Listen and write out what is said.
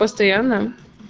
постоянно